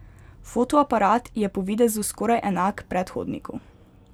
Fotoaparat je po videzu skoraj enak predhodniku.